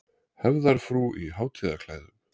Hefðarfrúr í hátíðarklæðum.